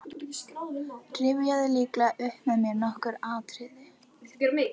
Rifjaðu lítillega upp með mér nokkur atriði.